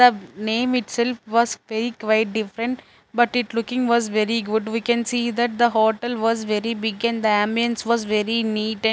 the name itself was very quite different but it looking was very good we can see that the hotel was very big and the ambience was very neat and--